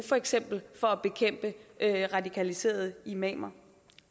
for eksempel at bekæmpe radikaliserede imamer